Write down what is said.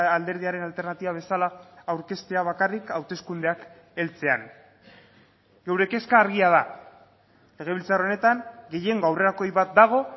alderdiaren alternatiba bezala aurkeztea bakarrik hauteskundeak heltzean geure kezka argia da legebiltzar honetan gehiengo aurrerakoi bat dago